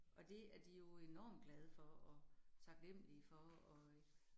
Og det er de jo enormt glade for, og taknemmelige for, og øh